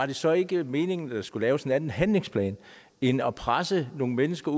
det så ikke var meningen at der skulle laves en anden handlingsplan end at presse nogle mennesker